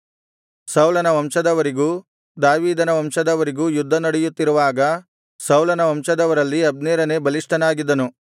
ಸೌಲನ ವಂಶದವರಿಗೂ ದಾವೀದನ ವಂಶದವರಿಗೂ ಯುದ್ಧ ನಡೆಯುತ್ತಿರುವಾಗ ಸೌಲನ ವಂಶದವರಲ್ಲಿ ಅಬ್ನೇರನೇ ಬಲಿಷ್ಠನಾಗಿದ್ದನು